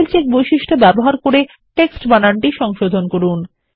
spell check বৈশিষ্ট্য ব্যবহার করে টেক্সট বানানটি সংশোধন করুন